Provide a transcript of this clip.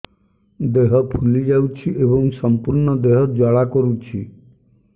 ଦେହ ଫୁଲି ଯାଉଛି ଏବଂ ସମ୍ପୂର୍ଣ୍ଣ ଦେହ ଜ୍ୱାଳା କରୁଛି